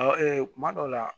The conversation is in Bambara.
kuma dɔw la